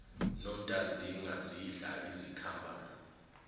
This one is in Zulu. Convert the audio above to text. nontazinga zidla izikhambane